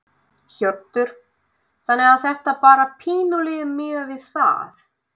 Hjörtur: Þannig að þetta bara pínulítið miðað við það?